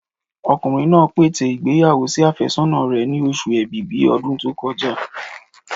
Ọkùnrin náà pète ìgbéyàwó sí àfẹ́sọ́nà rẹ̀ ni oṣù ẹ̀bìbí ọdún tó kọjá.